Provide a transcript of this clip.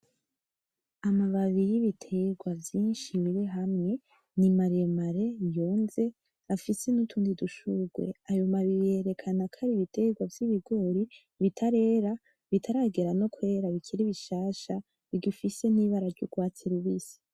Amababi y'ibeterwa vyishi biri hamwe ni maremare yonze afise nutundi dushugwe ,Ayo mababi yerekana ko ari ibiterwa vyibigori bitarera ,bitaragera no kwera bikiri bishasha bigifise n'ibara ry'urwatsi rubisi